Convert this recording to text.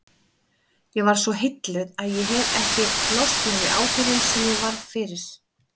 Ég varð svo heilluð að ég hefi ekki losnað við áhrifin sem ég varð fyrir.